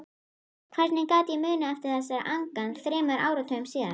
Hvernig gat ég munað eftir þessari angan þremur áratugum síðar?